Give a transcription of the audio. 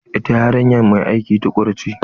Ita yarinya mai aiki tukuru ce.